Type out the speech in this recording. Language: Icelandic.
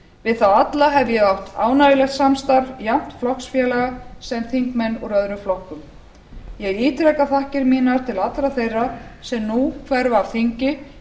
við þá alla hef ég átt ánægjulegt samstarf jafnt flokksfélaga sem þingmenn úr öðrum flokkum ég ítreka þakkir mínar til allra þeirra sem nú hverfa af þingi